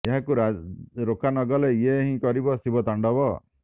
ଏହାକୁ ରୋକା ନଗଲେ ଇଏ ହିଁ କରିବ ଶିବ ତାଣ୍ଡବ